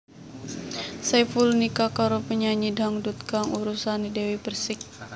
Saiful nikah karo penyanyi dangdut kang urusané Dewi Perssik